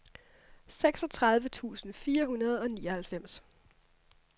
seksogtredive tusind fire hundrede og nioghalvfems